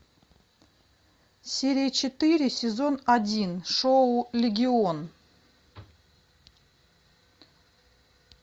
серия четыре сезон один шоу легион